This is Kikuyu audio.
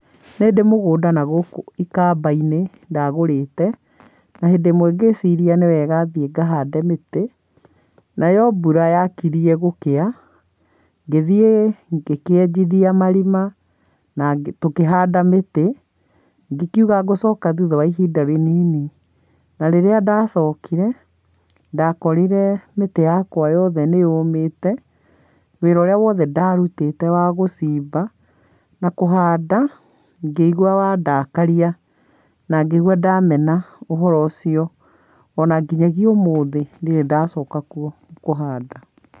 Nĩ ndĩ mũgũnda na gũkũ ikamba-inĩ ndagũrĩte. Na hĩndĩ ĩmwe ngĩciria nĩ wega thiĩ ngahande mĩtĩ, nayo mbura yakirie gũkĩa, ngĩthiĩ ngĩkĩenjithia marima na ngĩkĩhanda mĩtĩ. Ngĩkiuga ngũcoka thutha wa ihinda rĩnini. Na rĩrĩ ndacokire, ndakorire mĩtĩ yakwa yothe nĩyũmĩte, wĩra ũrĩa wothe ndarutĩte wagũcimba, na kũhanda ngĩigua wandakaria, na ngĩigua ndamena ũhoro ũcio. Onanginyagia ũmũthi ndirĩ ndacoka kuo kũhanda.